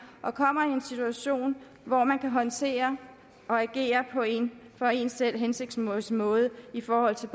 og kommer i en situation hvor man kan håndtere og agere på en for en selv hensigtsmæssig måde i forhold til